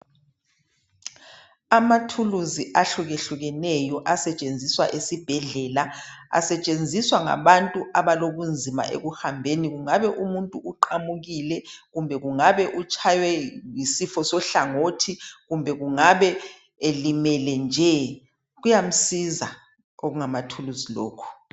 Amathuluzi ahlukehlukeneyo asetshenziswa esibhedlela. Asetshenziswa ngabantu abalobunzima ekuhambeni kungabe umuntu uqamukile kumbe kungabe utshaywe yisifo sohlangothi kumbe kungabe elimele nje, kuyamsiza okungamathuluzi lokhu.